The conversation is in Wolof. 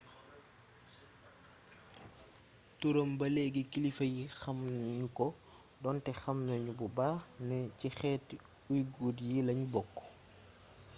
turam ba léegi kilifa yi xamu nu ko donte xam nanu bu baax ne ci xeeti uighur yi lanu bokk